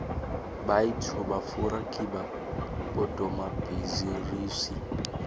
baityfu bafura kiba bodomabhizirusi